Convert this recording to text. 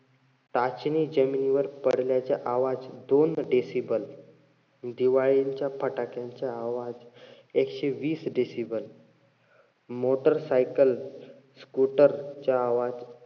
टाचणी जमिनीवर पडल्याचे आवाज दोन decible. दिवाळीचे फटाक्यांचे आवाज एकशे वीस decible. motorcycle, scooter चा आवाज,